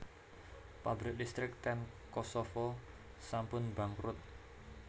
Pabrik listrik ten Kosovo sampun bangkrut